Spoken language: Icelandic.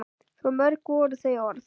Svo mörg voru þau orð!